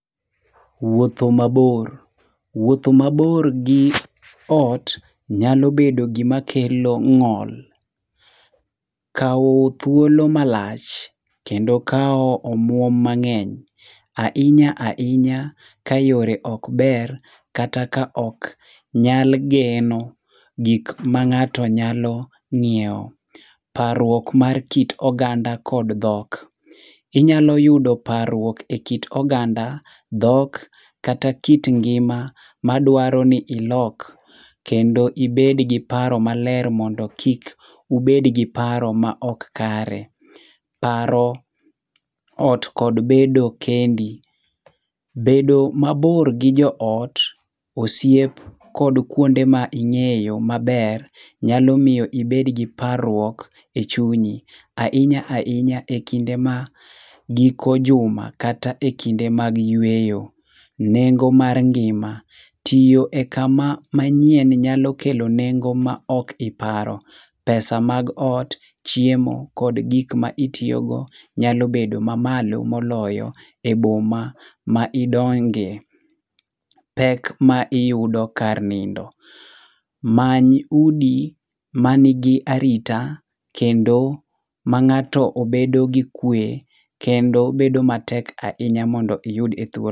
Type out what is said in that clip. Wuotho mabor. Wuotho mabor gi ot nyalo bedo gimakelo ng'ol. Kawo thuolo malach, kendo kawo omuom mang'eny. Ahinya ahinya, kayore ok ber kata ka ok nyal geno gik mang'ato nyalo ng'iewo. Parruok mar kit oganda kod dhok. Inyalo yudo parruok ekit oganda, dhok kata kit ngima madwaro ni ilok kendo ibed gi paro maler mondo kik ubed gi paro maok kare. Paro ot kod bedo kendi. Bedo mabor gi joot, osiep kod kuonde ma ing'eyo maber nyalo miyo ibed gi parruok e chunyi. Ahinya ahinya e kinde ma giko juma kata e kinde mag yweyo. Nengo mar ngima. Tiyo e kama manyien nyalo kelo nengo ma ok iparo. pesa mag ot, chiemo kod gik ma itiyogo nyalo bedo mamalo moloyo e boma ma idonge. Pek ma iyudo kar nindo. Many udi manigi arita kendo ma ng'ato obedo gi kwe kendo bedo matek ahinya mondo iyud e thuoloni.